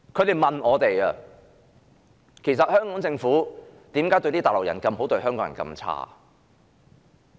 他們問我們："其實，為何香港政府善待內地人，但卻虧待香港人？